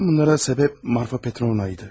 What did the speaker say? Bütün bunlara səbəb Marfa Petrovna idi.